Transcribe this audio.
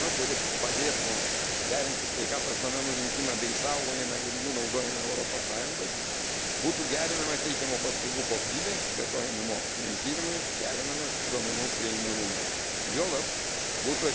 Sukūrus bendrą sistemą, kuri padėtų derinti sveikatos duomenų rinkimą bei išsaugojimą ir jų naudojimą Europos Sąjungoje, būtų gerinama teikiamų paslaugų kokybė, plėtojami moksliniai tyrimai, gerinamas duomenų prieinamumas.